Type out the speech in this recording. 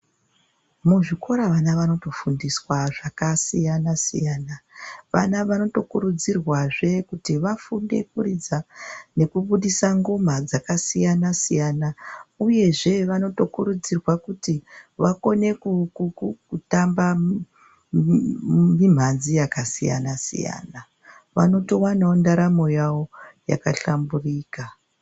Muzvikora vana vanotofundiswa zvakasiyana siyana. Vana vanotokuridzirwazve kuti vafunde kuridza nekubudisa ngoma dzakasiyana siyana uyezve vanotokurudzirwa kuti vakone kutamba mimhanzi yakasiyana siyana. Vanotowanawo ndaramo yavo yakashamburika.